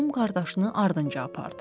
Qum qardaşını ardınca apardı.